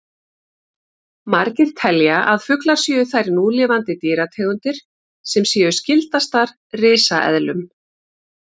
Margir telja að fuglar séu þær núlifandi dýrategundir sem séu skyldastar risaeðlum.